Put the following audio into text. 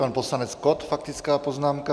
Pan poslanec Kott, faktická poznámka.